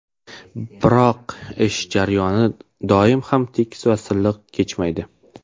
Biroq ish jarayoni doim ham tekis va silliq kechmaydi.